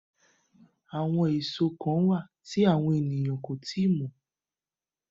Àwọn èso kán wà tí àwọn ènìyàn kó tíì mọ̀